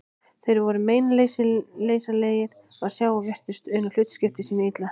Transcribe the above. Þeir voru meinleysislegir að sjá og virtust una hlutskipti sínu illa.